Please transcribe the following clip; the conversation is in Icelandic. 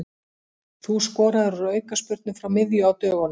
Þú skoraðir úr aukaspyrnu frá miðju á dögunum.